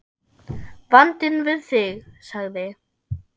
Vandinn við þig, sagði